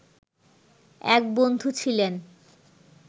এক বন্ধু ছিলেন